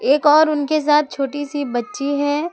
एक और उनके साथ छोटी सी बच्ची है।